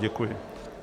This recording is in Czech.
Děkuji.